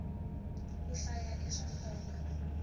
ku hlaya i swa nkoka